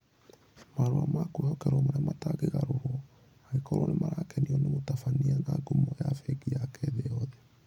Marũa ma kwĩhokerwo marĩa matangĩgarũrwo (angĩkorwo nĩ marakenio nĩ mũtabania na ngumo ya bengi yake thĩ yothe)